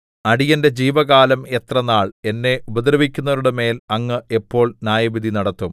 അടിയന്റെ ജീവകാലം എത്ര നാൾ എന്നെ ഉപദ്രവിക്കുന്നവരുടെമേൽ അങ്ങ് എപ്പോൾ ന്യായവിധി നടത്തും